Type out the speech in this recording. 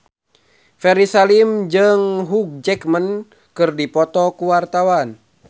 Ferry Salim jeung Hugh Jackman keur dipoto ku wartawan